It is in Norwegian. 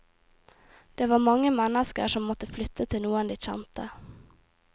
Det var mange mennsker som måtte flytte til noen de kjente.